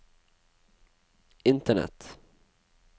internett